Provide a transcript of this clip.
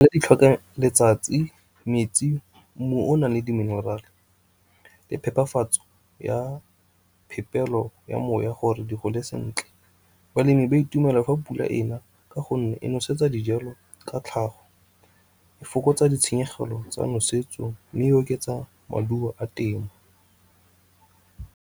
Di tlhoka letsatsi, metsi, mmu o o na leng di minerale le phepafatso ya phepelo ya moya gore di gole sentle. Balemi ba itumela fa pula ena, ka gonne e nosetsa dijalo ka tlhago, e fokotsa ditshenyegelo tsa nosetso, mme oketsa maduo a temo.